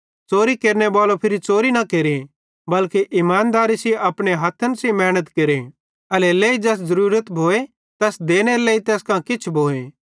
च़ोरी केरनेबालो फिरी च़ोरी न केरे बल्के इमानदेरी सेइं अपने हथ्थन सेइं मेहनत केरे एल्हेरेलेइ ज़ैस ज़रूरत भोए तैस देनेरे लेइ तैस कां किछ भोए